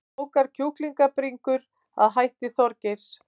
Klókar kjúklingabringur að hætti Þorgeirs